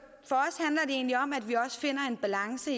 egentlig om at vi finder en balance